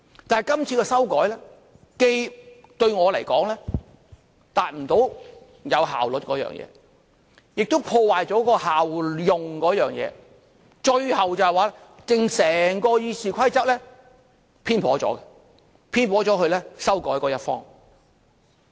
但是今次的修改，對我們來說，既達不到有效率的目的，亦破壞了效用方面，最後整本《議事規則》偏頗了，偏頗了到修改它的一方。